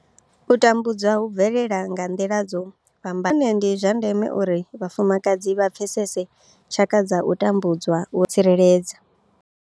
U tambudzwa hu bvelela nga nḓila dzo fhambanaho nahone ndi zwa ndeme uri vhafumakadzi vha pfesese tshaka dza u tambudzwa uri vha kone u ḓitsireledza.